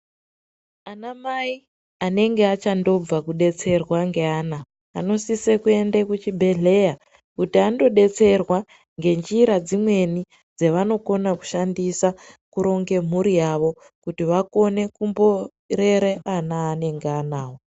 Ana mai anenge achandobva kudetserwa ngeana anosise kuende kuchibhedhleya kuti ando detserwa ngenjira dzimweni dzevanokona kushandisa kuronge mhuri yavo kuti vakone kumborera ana aanenge anawo.